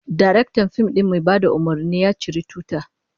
Daraktan fim din mai bada umurni, ya ciri tuta